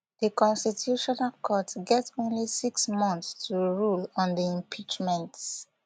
di constitutional court get only six months to rule on di impeachment